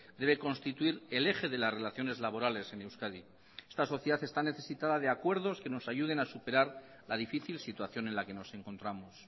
debe constituir el eje de las relaciones laborales en euskadi esta sociedad está necesitada de acuerdos que nos ayuden a superar la difícil situación en la que nos encontramos